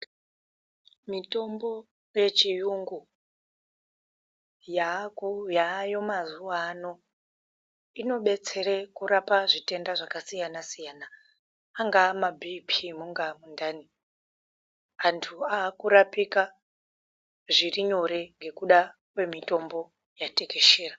Mitombo yechiyungu yaako yaayo mazuwaano, inobetsere kurapa zvitenda zvakasiya-nasiyana, angaa mabhiiphii, mungaa mundani, antu aakurapika zviri nyore ngekuda kwemitombo yatekeshera.